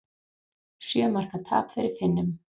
Sjö marka tap fyrir Finnum